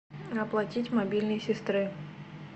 оплатить мобильный сестры